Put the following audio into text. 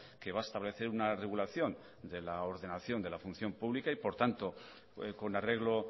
que va a establecer una regulación de la ordenación de la función pública y por tanto con arreglo